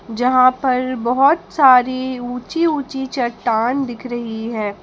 जहां पर बहोत सारी ऊंची ऊंची चट्टान दिख रही है।